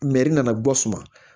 nana bɔ suma